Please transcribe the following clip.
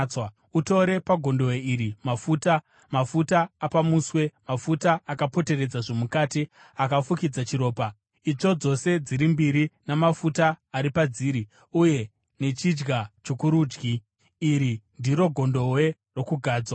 “Utore pagondobwe iri mafuta, mafuta apamuswe, mafuta akapoteredza zvomukati, akafukidza chiropa, itsvo dzose dziri mbiri namafuta ari padziri, uye nechidya chokurudyi. (Iri ndiro gondobwe rokugadzwa.)